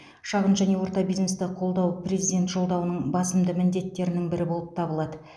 шағын және орта бизнесті қолдау президент жолдауының басымды міндеттердің бірі болып табылады